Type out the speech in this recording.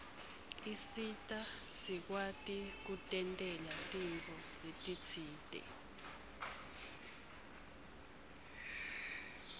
isita sikwati kutentela tintfo letisite